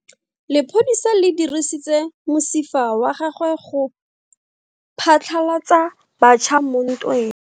Lepodisa le dirisitse mosifa wa gagwe go phatlalatsa batšha mo ntweng.